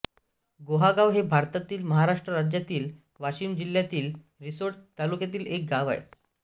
गोहागाव हे भारतातील महाराष्ट्र राज्यातील वाशिम जिल्ह्यातील रिसोड तालुक्यातील एक गाव आहे